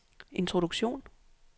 introduktion